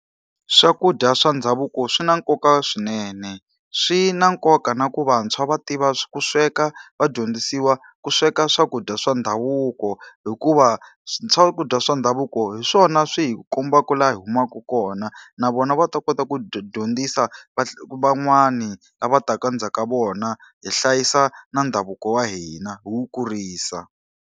Swakudya swa ndhavuko swi na nkoka swinene. Swi na nkoka na ku vantshwa va tiva ku sweka, va dyondzisiwa ku sweka swakudya swa ndhavuko. Hikuva swakudya swa ndhavuko hi swona swi hi kombaka laha hi humaka kona. Na vona va ta kota ku dyondzisa van'wani lava taka endzhaku ka vona, hi hlayisa na ndhavuko wa hina hi wu kurisa.